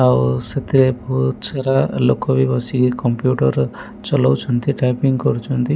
ଆଉ ସେଥିରେ ବୋହୁଚ ସାରା ଲୋକବି ବସିକି କମ୍ପ୍ୟୁଟର ଚାଲୋଉଛନ୍ତି ଟାଇପିଙ୍ଗ୍ କରୁଚନ୍ତି।